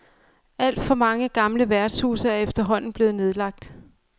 Alt for mange gamle værtshuse er efterhånden blevet nedlagt.